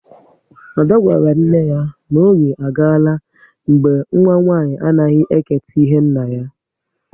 Ada gwara nne ya n'oge agala mgbe nwa nwanyị anaghị eketa ihe nna ya